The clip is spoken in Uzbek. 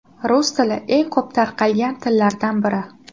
Rus tili eng ko‘p tarqalgan tillardan biri.